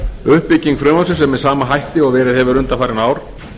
uppbygging frumvarpsins er með sama hætti og verið hefur undanfarin ár